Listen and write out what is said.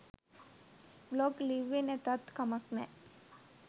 Blog ලිව්වෙ නැතත් කමක් නෑ.